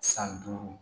San duuru